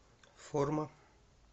форма